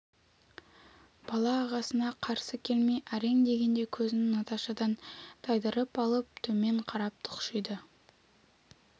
бала ағасына қарсы келмей әрең дегенде көзін наташадан тайдырып алып төмен қарап тұқшиды